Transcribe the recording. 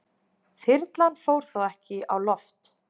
Þyrlan fór þó ekki á loft